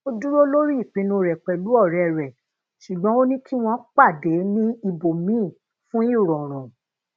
o duro lori ipinnu re pelu ore re sugbon ó ní kí wón pade ni íbòmíì fun irọrùn